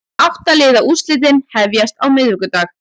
Átta liða úrslitin hefjast á miðvikudag